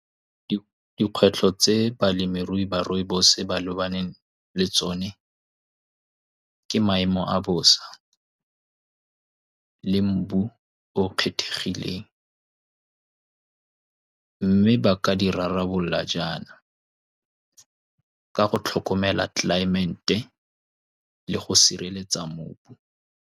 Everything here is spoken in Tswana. Dikgwetlho tse balemirui ba rooibos-e ba lebaneng le tsone ke maemo a bosa le mobu o o kgethegile, mme ba ka di rarabolola jaana ka go tlhokomela tlelaemete le go sireletsa mobu.